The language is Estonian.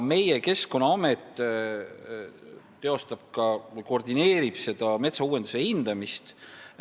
Keskkonnaamet koordineerib metsa uuendamise hindamist.